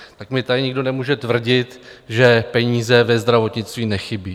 Tak mi tady nikdo nemůže tvrdit, že peníze ve zdravotnictví nechybí.